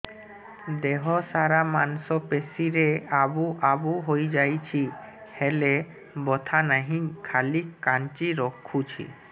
ଦେହ ସାରା ମାଂସ ପେଷି ରେ ଆବୁ ଆବୁ ହୋଇଯାଇଛି ହେଲେ ବଥା ନାହିଁ ଖାଲି କାଞ୍ଚି ରଖୁଛି